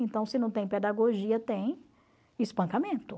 Então, se não tem pedagogia, tem espancamento.